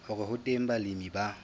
hore ho teng balemi ba